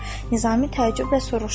Nizami təəccüblə soruşdu.